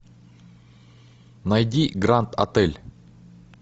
найди гранд отель